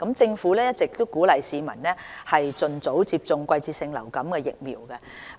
政府一直鼓勵市民盡早接種季節性流感疫苗。